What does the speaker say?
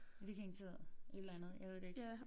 Vikingetid et eller andet jeg ved det ikke